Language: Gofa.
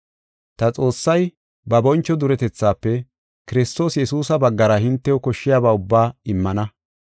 Ta Xoossay ba boncho duretethaafe, Kiristoos Yesuusa baggara hintew koshshiyaba ubbaa immana.